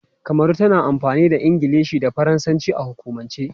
Kamaru tana amfani da Ingilishi da Faransanci a hukumance.